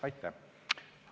Aitäh!